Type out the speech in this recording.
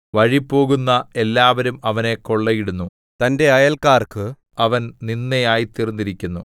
വഴിപോകുന്ന എല്ലാവരും അവനെ കൊള്ളയിടുന്നു തന്റെ അയല്ക്കാർക്ക് അവൻ നിന്ദ ആയിത്തീർന്നിരിക്കുന്നു